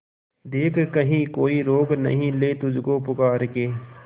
देख कहीं कोई रोक नहीं ले तुझको पुकार के